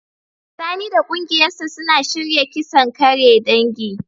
Sani da kungiyarsa suna shirya kisan kare dangi.